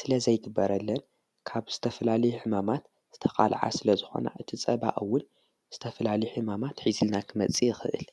ስለ ዘይግበረለን ካብ ዝተፍላሊ ሕማማት ዝተቓልዓ ስለ ዝኾና እቲ ጸባእውን ዝተፍላሊ ሕማማት ሒዝልና ኽመጺእ ይኽእል።